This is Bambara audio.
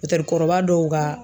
kɔrɔba dɔw ka.